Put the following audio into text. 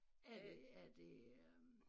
Er det er det øh